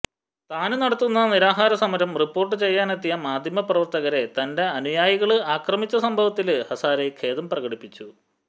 താന് നടത്തുന്ന നിരാഹാര സമരം റിപ്പോര്ട്ട് ചെയ്യാനെത്തിയ മാധ്യമ പ്രവര്ത്തകരെ തന്റെ അനുയായികള് അക്രമിച്ച സംഭവത്തില് ഹസാരെ ഖേദം പ്രകടിപ്പിച്ചു